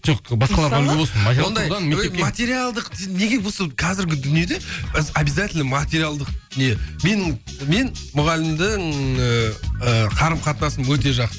жоқ басқаларға үлгі болсын материалдық неге осы қазіргі дүниеде біз обязательно материалдық не мен мен мұғалімнің ыыы қарым қатынасым өте жақсы